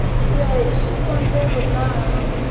ku ya hi xikombelo laha